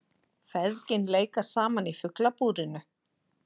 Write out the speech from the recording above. Feðgin leika saman í Fuglabúrinu